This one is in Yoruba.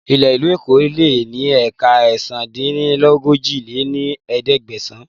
Ilẹ̀ ìlú Èkó lè ní éékà ẹ̀sán-dín-ní-ojì lé ní ẹ̀ẹ́dẹ́gbẹ́sán